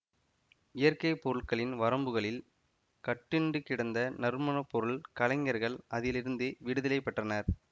இயற்கை பொருட்களின் வரம்புகளில் கட்டுண்டு கிடந்த நறுமணப்பொருள் கலைஞர்கள் அதிலிருந்து விடுதலை பெற்றனர்